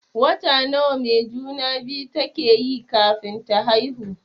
Wata nawa mai juna-biyu take yi kafin ta haihu?